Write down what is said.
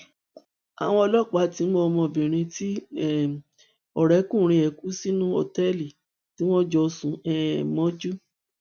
àwọn ọlọpàá ti mú ọmọbìnrin tí um ọrẹkùnrin ẹ kú sínú òtẹẹlì tí wọn jọ sùn um mọjú